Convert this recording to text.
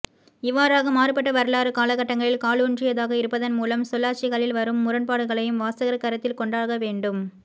இவ்வாறாக மாறுபட்ட வரலாற்றுக் காலகட்டங்களில் காலூன்றியதாக இருப்பதன் மூலம் சொல்லாட்சிகளில் வரும் முரண்பாடுகளையும் வாசகர் கருத்தில் கொண்டாகவேண்டும்